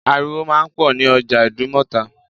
Ariwo máa ń pọ̀ ní ọjà Ìdúmọ̀tà